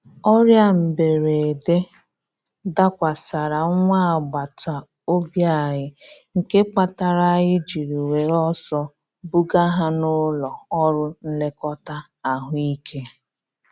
Ọrịa mberede dakwasara nwa agbata obi anyị, nke kpatara anyị jiri were ọsọ buga ha n'ụlọ ọrụ nlekọta ahụ ike.